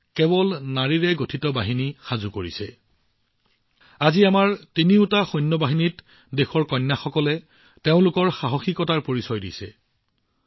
আজি দেশৰ কন্যাসকলে তিনিওটা সশস্ত্ৰ বাহিনীত তেওঁলোকৰ সাহসিকতাৰ ধ্বজ্জা উত্তোলন কৰিছে